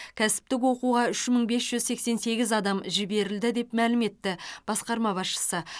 кәсіптік оқуға үш мың бес жүз сексен сегіз адам жіберілді деп мәлім етті басқарма басшысы